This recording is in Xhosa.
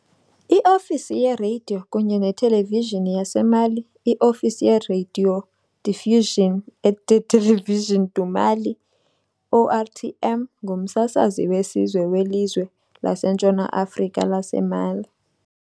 I-Ofisi yeRadio kunye neTelevishini yaseMali, I-Ofisi ye-radiodiffusion et de télévision du Mali", ORTM, ngumsasazi wesizwe welizwe laseNtshona Afrika laseMali.